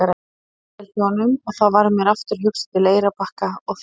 Mér líður vel hjá honum og þá varð mér aftur hugsað til Eyrarbakka og þín.